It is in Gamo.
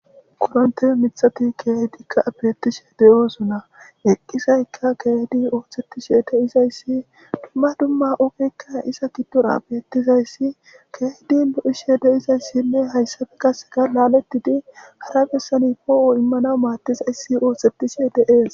kuronte mithati keedikka bettishe deyosuna eqqizayka keedi oohsettishe de izayssi dumma dumma ogekka isa giddora bettizayssi keedi lo7ishe de izayssinne hayssafe kasega laalettidi hara bessani poo7o immana maattizayssi oosettishe deees